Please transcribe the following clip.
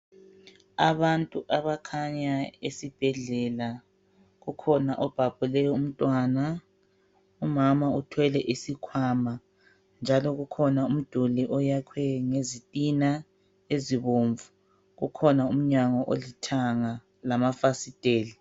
Abantu abakhanya esibhedlela kukhona obhabhule umntwana umama uthwele isikhwama njalo kukhona umduli oyakhwe ngezitina ezibomvu kukhona umnyango olithanga lamafasiteli.